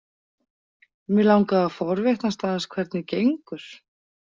Mig langaði að forvitnast aðeins hvernig gengur.